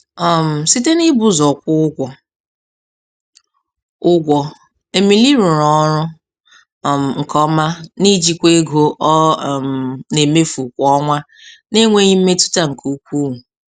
um Site n'ibu ụzọ kwụọ ụgwọ, ụgwọ, Emily rụrụ ọrụ um nke ọma na-ijikwa ego ọ um na-emefu kwa ọnwa n'enweghị mmetụta nke ukwu.